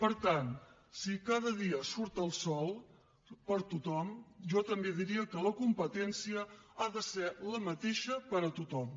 per tant si cada dia surt el sol per a tothom jo també diria que la competència ha de ser la mateixa per a tothom